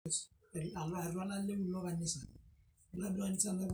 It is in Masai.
timitiki nguesi e ang olmasheri, enyamali enkiyanga o moyiaritin kulie